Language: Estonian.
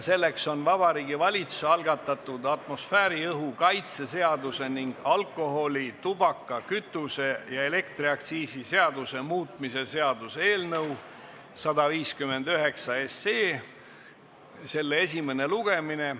Selleks on Vabariigi Valitsuse algatatud atmosfääriõhu kaitse seaduse ning alkoholi-, tubaka-, kütuse- ja elektriaktsiisi seaduse muutmise seaduse eelnõu 159 esimene lugemine.